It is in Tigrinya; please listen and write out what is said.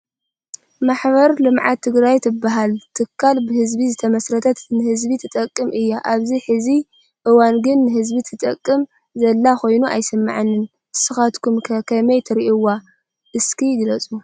ማሕበር ልምዓት ትግራት ትባሃል ትካል ብህዝቢ ዝትመስረተት ንህዝቢ ትጠቅም እያ ። ኣብ ሕዚ እዋን ግን ንህዝቢ ትጠቅም ዘላ ኮይኑ ኣይስማዓንን። እስካትኩም ከ ከመይ ትርእዋ እስኪ ግለፁ ?